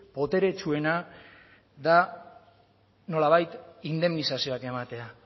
boteretsuena da nolabait indemnizazioak ematea